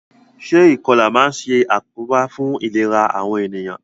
Se ìkolà ma n sàkóbá fun ìlera àwon ènìyàn